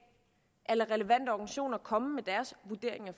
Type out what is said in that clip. lade relevante organisationer komme med deres vurdering af